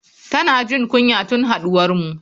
Tana jin kunya tun haduwarmu.